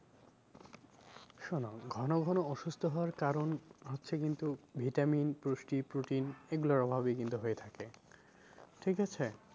শোনো ঘন ঘন অসুস্থ হওয়ার কারণ হচ্ছে কিন্তু vitamin পুষ্টি protein এগুলোর অভাবেই কিন্তু হয়ে থাকে ঠিক আছে?